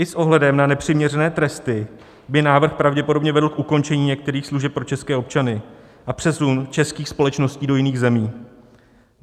I s ohledem na nepřiměřené tresty by návrh pravděpodobně vedl k ukončení některých služeb pro české občany a přesunu českých společností do jiných zemí.